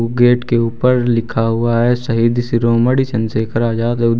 Gate के ऊपर लिखा हुआ है शहीद शिरोमणि चंद्रशेखर आजाद ।